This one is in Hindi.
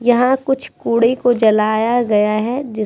यहाँ कुछ कूड़े को जलाया गया है जिस --